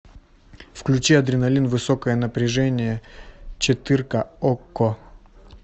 включи адреналин высокое напряжение четырка окко